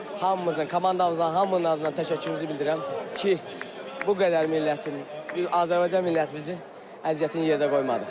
Hamımızın, komandamızın hamının adına təşəkkürümüzü bildirirəm ki, bu qədər millətin, Azərbaycan millətimizin əziyyətini yerdə qoymadıq.